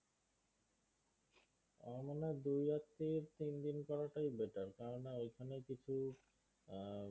আমার মনে হয় দুইরাত্রী তিনদিন করাটাই better কেননা ঐখানে কিছু হম